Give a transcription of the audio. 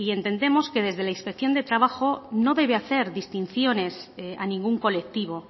entendemos que desde la inspección de trabajo no debe hacer distinciones a ningún colectivo